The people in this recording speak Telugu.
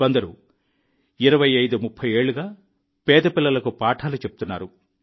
కొందరు 2530 ఏళ్లుగా పేద పిల్లలకు పాఠాలు చెప్తున్నారు